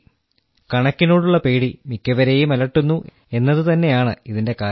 കണക്കിനോടുള്ള പേടി മിക്കവരേയും അലട്ടുന്നു എന്നത് തന്നെയാണ് ഇതിന്റെ കാരണം